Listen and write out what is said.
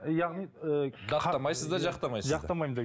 яғни ыыы даттамайсыз да жақтамайсыз да